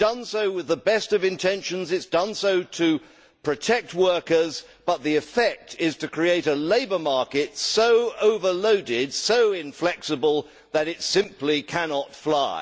It has done so with the best of intentions to protect workers but the effect is to create a labour market so overloaded and inflexible that it simply cannot fly.